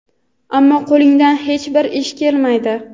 ammo qo‘lingdan hech bir ish kelmaydi.